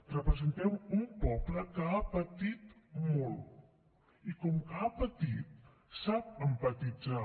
representem un poble que ha patit molt i com que ha patit sap empatitzar